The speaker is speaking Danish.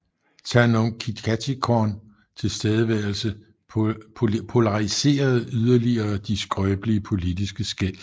Thanom Kittikachorn tilstedeværelse polariserede yderligere de skrøbelige politiske skel